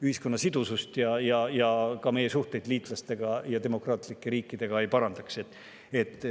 Ühiskonna sidusust ja meie suhteid liitlaste ja demokraatlike riikidega see ei parandaks.